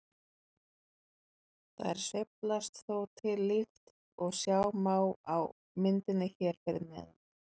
Þær sveiflast þó til líkt og sjá má á myndinni hér fyrir neðan.